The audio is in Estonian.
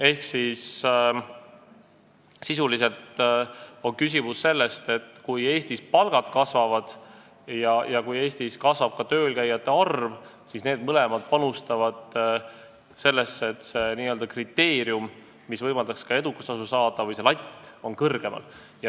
Ehk sisuliselt on küsimus selles, et kui Eestis palgad kasvavad ja kasvab ka töölkäijate arv, siis need mõlemad panustavad sellesse, et see n-ö kriteerium või see latt, mis võimaldaks ka edukustasu saada, on kõrgemal.